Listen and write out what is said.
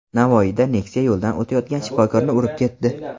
Navoiyda Nexia yo‘ldan o‘tayotgan shifokorni urib ketdi.